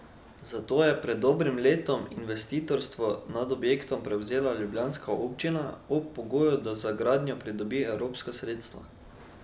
Zato je pred dobrim letom investitorstvo nad objektom prevzela ljubljanska občina, ob pogoju, da za gradnjo pridobi evropska sredstva.